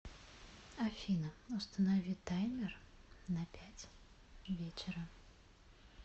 афина установи таймер на пять вечера